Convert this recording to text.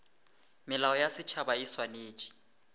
melao ya setšhaba e swanetše